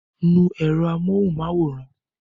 Nu èrò amóhunmáwòrán!